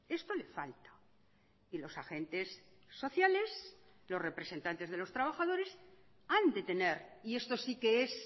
esto le falta y los agentes sociales los representantes de los trabajadores han de tener y esto sí que es